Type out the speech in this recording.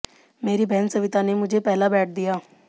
मेरी बहन सविता ने मुझे पहला बैट दिया